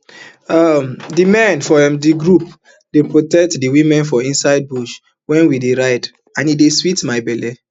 um di men for um di group dey protect di women for inside bush wen we ride and e dey sweet my belle